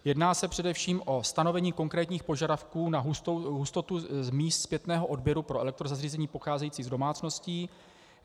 Jedná se především o stanovení konkrétních požadavků na hustotu míst zpětného odběru pro elektrozařízení pocházející z domácností.